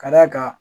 Ka d'a kan